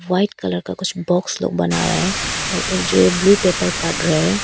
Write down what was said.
White colour का कुछ box लोग बना रहे है और एक जो ब्लू पेपर काट रहे है।